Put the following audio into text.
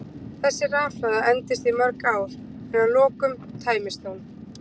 Þessi rafhlaða endist í mörg ár en að lokum tæmist hún.